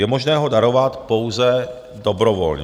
Je možné ho darovat pouze dobrovolně.